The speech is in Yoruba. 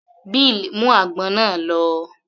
Bill mú àgbọn náà lọ